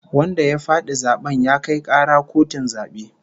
Wanda ya fadi zaben ya kai kara kotun zabe